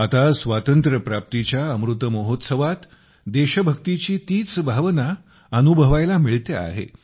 आता स्वातंत्र्यप्राप्तीच्या अमृत महोत्सवात देशभक्तीची तीच भावना अनुभवायला मिळते आहे